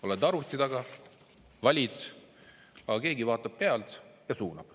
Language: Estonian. Oled arvuti taga ja valid, aga keegi vaatab pealt ja suunab.